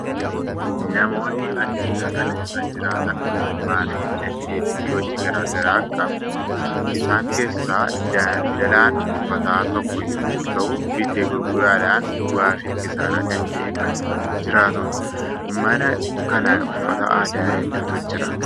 Namoonni addunyaa kana irra jiraatan ogummaa fi dandeettii hojii garaa garaa qabu. Isaan keessaa daldalaan uffataa tokko yommuu ta'u, bitee gurguruudhaan bu'aa fi kisaaraa danda'ee kan jiraatudha. Mana kana uffata aadaa hedduutu jira.